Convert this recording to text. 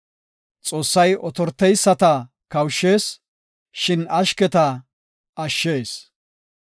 Xoossay otoreyisata kawushshees; shin ashketa ashshees.